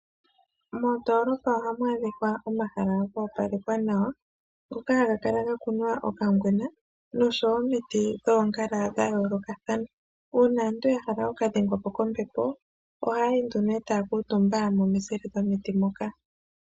Mondoolopa ohamu adhika omahala go opalekwa nawa, ngoka haga kala ga kunwa okangwena noshowo omiti dhoongala dha yoolokathana. Uuna aantu ya hala oku ka dhengwa po kombepo, ohaya ende nee taya kuutumba momizile dhomiti moka.